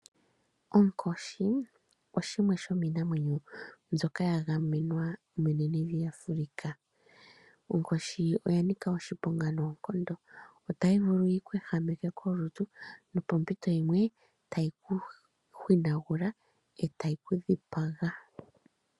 Onkoshi shimwe shomiinamwenyo mbyoka ya gamenwa menenevi Africa. Onkoshi oya nika oshiponga noonkondo. Otayi vulu yi ku ehameke kolutu nopompito yimwe tayi ku hwinagula e tayi ku dhipaga.